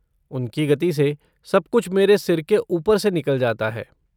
उनकी गति से, सब कुछ मेरे सिर के ऊपर से निकल जाता है।